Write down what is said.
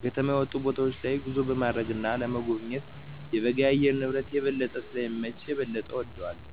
ከከተማ የወጡ ቦታወች ላይ ጉዞ ለማድረግ እና ለመጎብኘት የበጋ የአየር ንብረት የበለጠ ስለሚመች የበለጠ እወደዋለሁ።